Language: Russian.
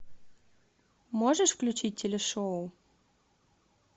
можешь включить телешоу